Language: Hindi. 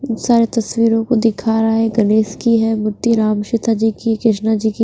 सारे तस्वीरों को दिखा रहा है गणेश की है मूर्ति राम सीता जी की कृष्णा जी की --